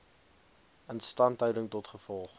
instandhouding tot gevolg